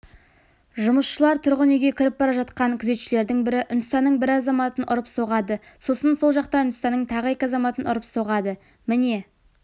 жұмысшылар тұрғын үйге кіріп бара жатқанда күзетшілердің бірі үндістанның бір азаматын ұрып-соғады сосын сол жақта үндістанның тағы екі азаматын ұрып-соғады міне